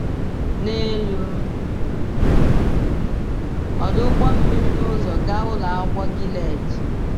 N’elu ọdụ ụgbọ mmiri n’ụzọ gaa Ụlọ Akwụkwọ Gilead.